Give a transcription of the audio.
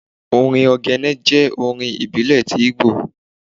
orín ogene jẹ orin ibílé tí Igbo